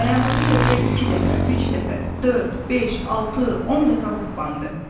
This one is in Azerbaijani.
Dayandığı yerdə iki dəfə, üç dəfə, dörd, beş, altı, 10 dəfə hoppandı.